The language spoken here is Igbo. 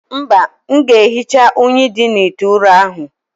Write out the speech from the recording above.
Mba, m ga-ehicha unyi dị n' ite ụrọ ahụ.